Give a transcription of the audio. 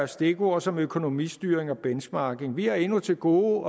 stikord som økonomistyring og benchmarking vi har endnu til gode